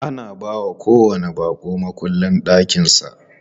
Ana bawa kowanni baƙo mukullin ɗakin sa.